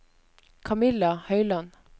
Kamilla Høyland